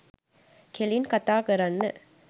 කෙලින් කථා කරන්න